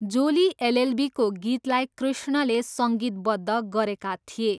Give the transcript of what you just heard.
जोली एलएलबीको गीतलाई कृष्णले सङ्गीतबद्ध गरेका थिए।